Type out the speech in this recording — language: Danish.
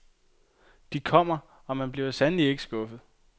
De kommer, og man bliver sandelig ikke skuffet.